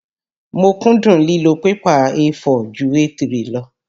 Mo kúndùn lílo pẹ́pà A4 ju A3 lọ.